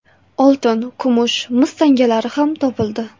Oltin, kumush, mis tangalari ham topildi.